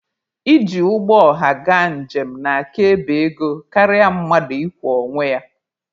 Iji ụgbọ ọha gaa njem na-aka ebe ego karịa mmadụ ịkwọ onwe ya.